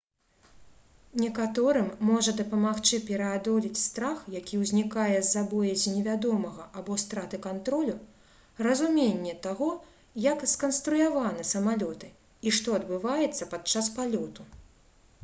некаторым можа дапамагчы пераадолець страх які ўзнікае з-за боязі невядомага або страты кантролю разуменне таго як сканструяваны самалёты і што адбываецца падчас палёту